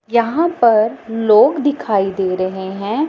यहां पर लोग दिखाई दे रहे हैं।